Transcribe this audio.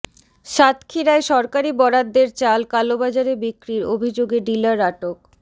সাতক্ষীরায় সরকারি বরাদ্দের চাল কালোবাজারে বিক্রির অভিযোগে ডিলার আটক